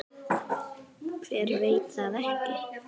Hver veit það ekki?